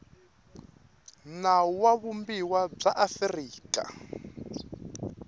nawu wa vumbiwa bya afrika